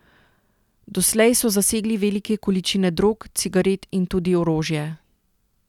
Doslej so zasegli velike količine drog, cigaret in tudi orožje.